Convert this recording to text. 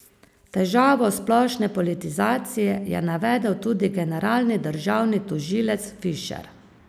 Težavo splošne politizacije je navedel tudi generalni državni tožilec Fišer.